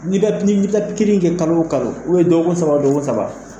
kɛ kalo o kalo dɔgɔkun saba o dɔgɔkun saba